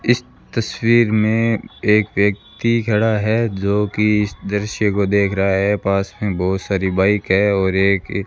इस तस्वीर में एक व्यक्ति खड़ा है जो कि इस दृश्य को देख रहा है पास में बहुत सारी बाइक है और एक --